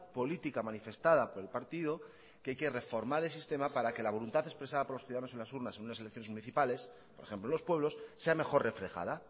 política manifestada por el partido que hay que reformar el sistema para que la voluntad expresada por los ciudadanos en las urnas en unas elecciones municipales por ejemplo en los pueblos sea mejor reflejada